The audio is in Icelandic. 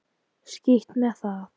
Skítt með það.